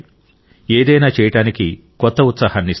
ఏదైనా చేయడానికి కొత్త ఉత్సాహాన్ని ఇస్తాయి